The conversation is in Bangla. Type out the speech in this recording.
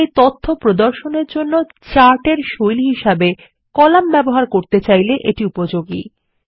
আপনারা তথ্য প্রদর্শনের জন্য চার্ট এর শৈলী হিসাবে কলাম ব্যবহার করতে চাইলে এটি উপযোগী